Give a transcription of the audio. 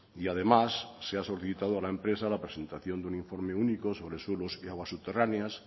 y además se ha solicitado a la empresa la presentación de un informe único sobre suelos y aguas subterráneas